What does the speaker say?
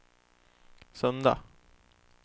söndag